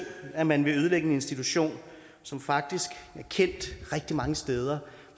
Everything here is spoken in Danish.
at man vil ødelægge en institution som faktisk er kendt rigtig mange steder